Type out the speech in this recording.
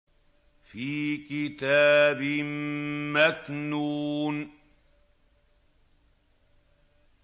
فِي كِتَابٍ مَّكْنُونٍ